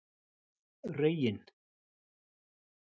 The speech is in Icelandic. Reginn